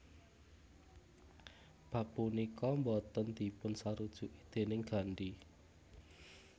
Bab punika boten dipun sarujuki déning Gandhi